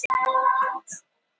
Hefurðu nokkuð séð Kamillu?